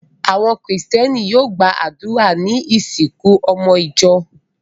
Àwọn Kìrìtẹ́ẹ́nì yóò gba àdúrà ní ìsìnkú ọmọ ìjọ.